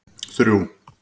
þrjú